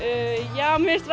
já mér finnst